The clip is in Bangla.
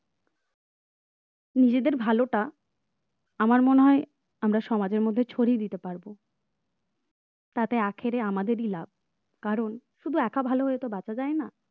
নিজেদের ভালোটা আমার মনে হয় আমরা সমাজের মধ্যে ছড়িয়ে দিতে পারব তাতে আখেরে আমাদেরই লাভ কারণ শুধু একা ভালো হয়তো বাঁচা যায় না